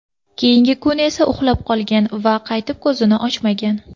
Keyingi kun esa uxlab qolgan va qaytib ko‘zini ochmagan.